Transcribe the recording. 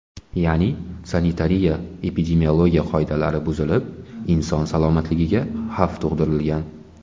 Ya’ni sanitariya-epidemiologiya qoidalari buzilib, inson salomatligiga xavf tug‘dirilgan.